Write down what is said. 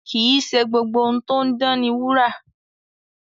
Kì í ṣe gbogbo ohun tó ń dán ni wúrà.